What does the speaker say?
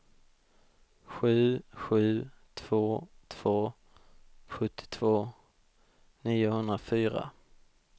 sju sju två två sjuttiotvå niohundrafyra